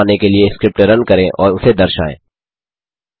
plot बनाने के लिए स्क्रिप्ट रन करें और उसे दर्शायें